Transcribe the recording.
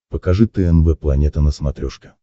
покажи тнв планета на смотрешке